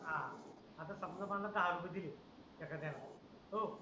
आता समजा मला दहा रुपये दिले एखाद्याने ओ